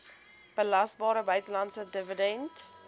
belasbare buitelandse dividend